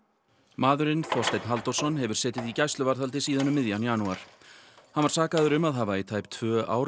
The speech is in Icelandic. maðurinn Þorsteinn Halldórsson hefur setið í gæsluvarðhaldi síðan um miðjan janúar hann var sakaður um að hafa í tæp tvö ár